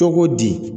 Cogo di